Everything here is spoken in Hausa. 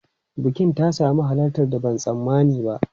Bukin ta sami halartar da ban tsammani ba.